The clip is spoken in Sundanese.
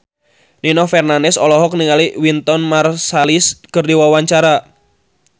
Nino Fernandez olohok ningali Wynton Marsalis keur diwawancara